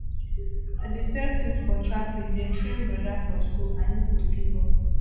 i dey sell tins for traffic dey train broda for skool i no go give up